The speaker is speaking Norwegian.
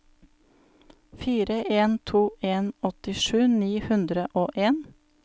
fire en to en åttisju ni hundre og en